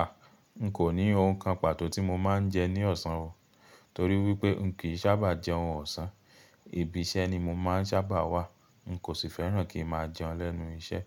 A! N kò ní ohun kan pàtó tí mo máa ń jẹ ní ọ̀sán o, torí wípé n kì í sáabà jẹun ọ̀sán. Ibi iṣẹ́ ni mo máa ń saábà wà, n kò sì fẹ́ràn kí n máa jẹun lẹ́nu iṣẹ́.